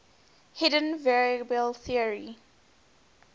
hidden variable theory